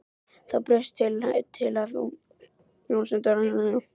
Þá bauðst hún til að áframsenda ávísanirnar þangað fyrir mig.